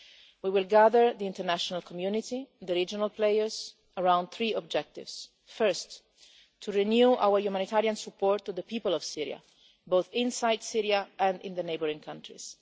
We will gather the international community, the regional players, around three objectives. First, to renew our humanitarian support to the people of Syria, both inside Syria and in the neighbouring countries.